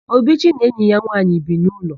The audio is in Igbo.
Obichi na enyi ya nwaanyị bi n'ụlọ.